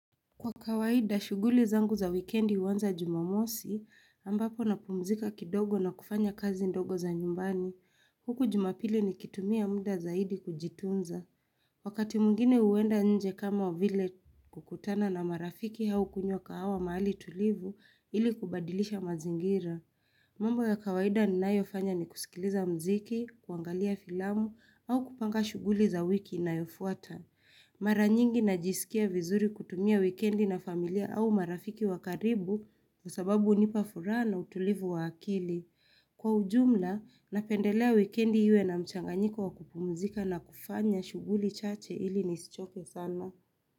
Kwa kawaida, shughuli zangu za wikendi huanza jumamosi ambapo na pumzika kidogo na kufanya kazi ndogo za nyumbani. Huku jumapili nikitumia muda zaidi kujitunza. Wakati mwingine huenda nje kama vile kukutana na marafiki au kunywa kahawa mahali tulivu ili kubadilisha mazingira. Mambo ya kawaida ninayo fanya ni kusikiliza muziki, kuangalia filamu au kupanga shughuli za wiki inayofuata. Mara nyingi najisikia vizuri kutumia wikendi na familia au marafiki wa karibu Kwa sababu hunipa furaha na utulivu wa akili. Kwa ujumla, napendelea wikendi iwe na mchanganyiko wa kupumzika na kufanya shughuli chache ili nisichoke sana.